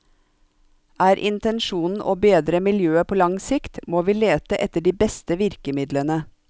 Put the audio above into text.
Er intensjonen å bedre miljøet på lang sikt, må vi lete etter de beste virkemidlene.